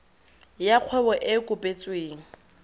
ya kgwebo e e kopetsweng